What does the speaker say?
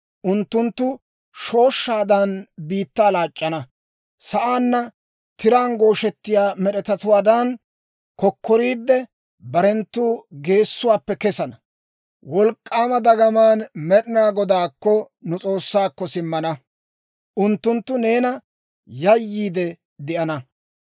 Unttunttu shooshshaadan, biittaa laac'c'ana; sa'aanna tiraan gooshettiyaa med'etatuwaadan kokkoriidde, barenttu geessuwaappe kesana. Wolk'k'aama dagamaan Med'ina Godaakko, nu S'oossaakko, simmana; unttunttu neena yayyiidde de'ana.